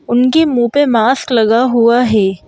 उनकी मुंह पे मास्क लगा हुआ है।